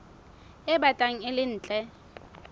e batlang e le ntle